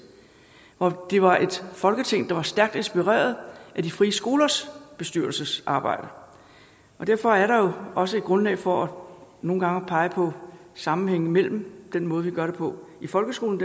hvor det var et folketing der var stærkt inspireret af de frie skolers bestyrelsesarbejde derfor er der også grundlag for nogle at pege på sammenhængen mellem den måde vi gør det på i folkeskolen